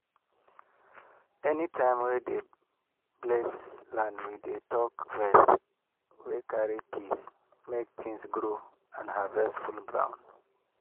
anytime we dey bless land we dey talk words wey carry peace make things grow and harvest full ground.